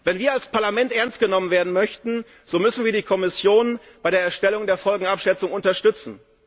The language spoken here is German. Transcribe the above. Wenn wir als Parlament ernst genommen werden möchten, so müssen wir die Kommission bei der Erstellung der Folgenabschätzung unterstützen.